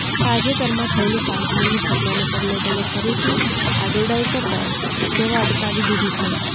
તાજેતરમાં થયેલી કાશ્મીરની ઘટનાને પગલે તેણે ફરીથી આડોડાઈ કરતાં સેવા અટકાવી દીધી છે